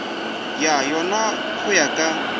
go yona go ya ka